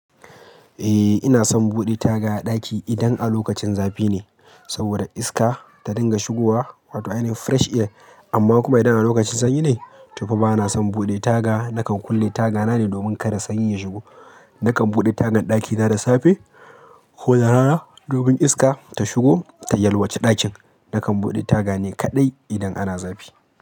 Eh ina son buɗe taga a ɗaki idan a lokacin zafi ne saboda iska ta dinga shigowa wato ayane fresh air. Amma kuma idan a lokacin sanyi ne to fa bana son buɗe taga. Nakan kulle tagana ne domin kada sanyi ya shigo. Nakan buɗe tagan ɗakina da safe ko da rana domin iska ta shigo ta yalwace ɗakin. Nakan buɗe taga ne kaɗai idan ana zafi.